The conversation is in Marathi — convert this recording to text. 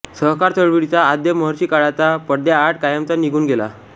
सहकार चळवळीचा आद्य महर्षी काळाच्या पडद्याआड कायमचा निघून गेला